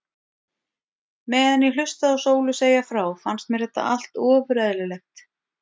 Meðan ég hlustaði á Sólu segja frá fannst mér þetta allt ofur eðlilegt.